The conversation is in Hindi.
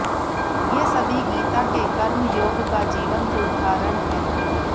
ये सभी गीता के कर्मयोग का जीवंत उदहारण हैं